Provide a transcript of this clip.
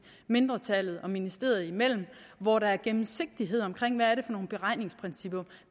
mindretallet og ministeriet imellem hvor der er gennemsigtighed omkring hvad det er for nogle beregningsprincipper